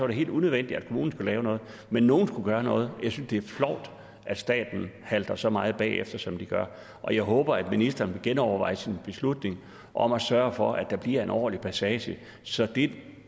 det helt unødvendigt at kommunen skulle lave noget men nogen skulle gøre noget jeg synes det er flovt at staten halter så meget bagefter som den gør og jeg håber at ministeren vil genoverveje sin beslutning og sørge for at der bliver en ordentlig passage så det